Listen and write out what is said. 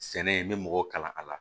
Sɛnɛ n bɛ mɔgɔw kalan a la